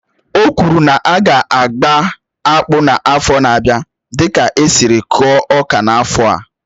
Ọ kwụrụ na aga agba akpụ n'afọ n'abia dịka esiri kụọ ọka n'afọ a